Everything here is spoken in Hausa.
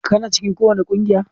Kana cikin kowace kungiya?